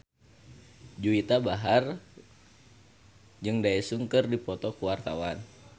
Juwita Bahar jeung Daesung keur dipoto ku wartawan